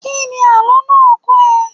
Kíni àlọ́ náà kọ́ ẹ?